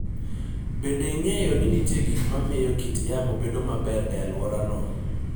Bende, ong'eyo ni nitie gik ma miyo kit yamo bedo maber e alworano.